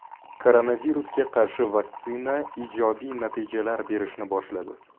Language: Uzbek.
Koronavirusga qarshi vaksina ijobiy natijalar berishni boshladi.